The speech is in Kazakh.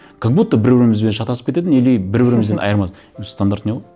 как будто бір бірімізбен шатасып кететін или бір бірімізбен өзі стандартный ғой